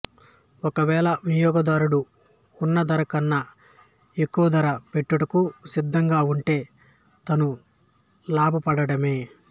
ఒకవేళ వినియోగదారుడు ఉన్న ధర కన్నా ఎక్కువ ధర పెట్టుటకు సిద్ధముగా ఉంటే తను లాభపడ్డట్టే